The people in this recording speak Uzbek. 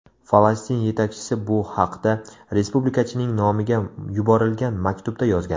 Falastin yetakchisi bu haqda respublikachining nomiga yuborilgan maktubda yozgan.